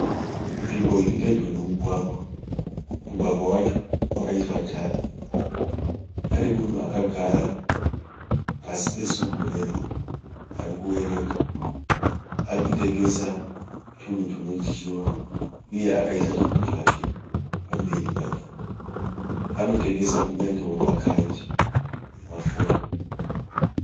Nzvimbo irpedyo nemugwagwa. Mugwagwa wacho wakaiswa tara. Pane munhu akagara pasi pesumburera arikuverenga. Arikutengesa tunhu tunodyiwa uye akaisa zvinhu zvake pamberi pake. Anotengesa kunyangewo makadhi emafoni.